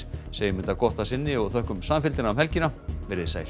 segjum þetta gott að sinni og þökkum samfylgdina um helgina veriði sæl